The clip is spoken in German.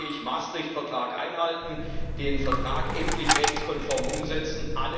Und da sage ich Maastricht Vertrag einhalten, den Vertrag endlich rechtskonform umsetzen.